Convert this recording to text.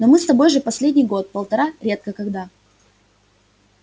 но мы с тобой же последний год-полтора редко когда